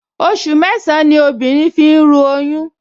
Oṣù mẹ́sàn-án ní obìnrin fi ń ru oyún